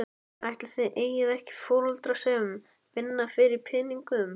Ætli þið eigið ekki foreldra sem vinna fyrir peningum?